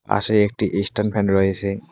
পাশেই একটি stand fan রয়েছে।